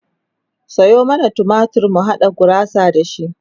Sayo mana tumatir mu haɗa gurasa da shi